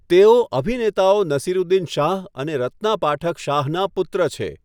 તેઓ અભિનેતાઓ નસીરુદ્દીન શાહ અને રત્ના પાઠક શાહનાં પુત્ર છે.